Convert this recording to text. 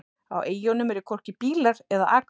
Á eyjunum eru hvorki bílar eða akvegir.